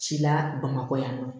Ci la bamakɔ yan nɔ